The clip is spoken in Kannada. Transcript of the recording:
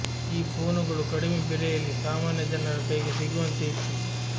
ಈ ಫೋನುಗಳು ಕಡಿಮೆ ಬೆಲೆಯಲ್ಲಿ ಸಾಮಾನ್ಯ ಜನರ ಕೈಗೆ ಸಿಗುವಂತೆ ಇತ್ತು